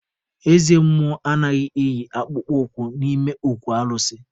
Eze mmụọ anaghị eyi akpụkpọ ụkwụ n'ime okwu alụsị.